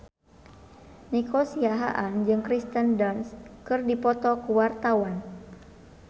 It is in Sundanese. Nico Siahaan jeung Kirsten Dunst keur dipoto ku wartawan